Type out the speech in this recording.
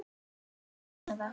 LÁRUS: Út með það!